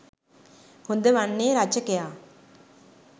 හොඳ වන්නේ රචකයා